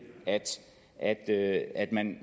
at at man